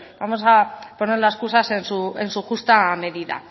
vamos a poner las cosas en su justa medida